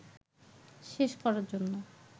শেষ করার জন্য